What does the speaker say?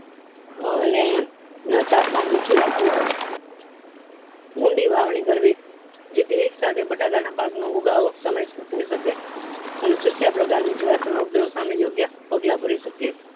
અને તાપમાન નીચું રાખવું ઊંડી વાવણી કરવી જેથી એક સાથે બટાકા ના પાક નો ઉગાવો સમય સર થય શકે અને ચૂસ્યા પ્રકારો ની જીવાતોનો ઉગ્રહ સામે યોગ્ય પગલા ભરી શકીયે